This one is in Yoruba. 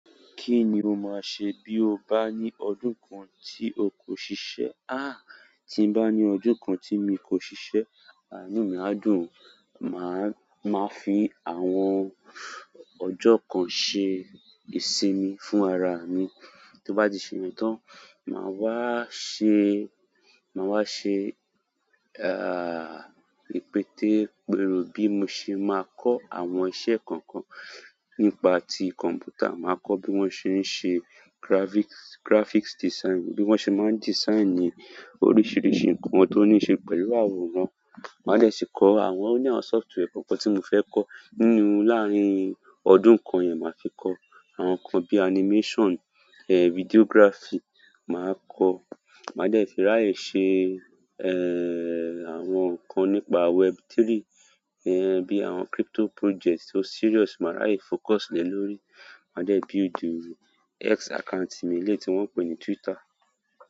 Kí ni o máa ṣe bí o bá ní ọdún kan tí o kò ṣiṣẹ́? Ah, tí n bá ní kin joko, tí mi kò ṣise, ah, inú mi á dùn. Máa, máa fi àwọn ọjọ́ kan ṣe ìsinmi fún ara mi. Tí n bá ti se yen tán, màá wá ṣe, màá wá ṣe, ah, ìpètepero bí mo ṣe máa kọ́ àwọn iṣẹ́ kan kan nípa ti kọ̀m̀pútà. Màá kọ́ bí wọ́n ṣe ń ṣe graphics, graphics design, bí wọ́n ṣe máa ń design oríṣiríṣi nǹkan tó níí ṣe pẹ̀lú àwòrán. Màá dè sì kọ́ àwọn o ni software kan kan tí mo fẹ́ kọ́ nínú láàrín ọdún kan yẹn, màá fi kọ́ àwọn nǹkan bí animation, eh, videography, màá kọ́. Màá dẹ́ fi ráyè ṣe, eh, àwọn nǹkan nípa web3, eh, bí àwọn crypto projects tó serious, màá ráyè focus lé lórí. Màá dẹ́ buildi X account mi elẹ́yi tí wọ́n pè ní Twitter.